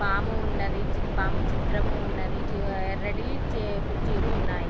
పాము ఉన్నదీ. చి పాము చిత్రము ఉన్నది. ఆ ఎర్రటి చైర్ కుర్చీలు ఉన్నాయి.